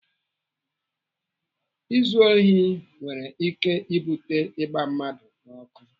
Izu ohi nwere ike ibute ịgba mmadụ ọkụ.